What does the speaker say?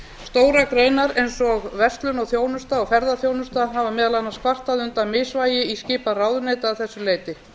stórar greinar eins og verslun og þjónusta og ferðaþjónusta hafa meðal annars kvartað undan misvægi í skipan ráðuneyta að þessu leyti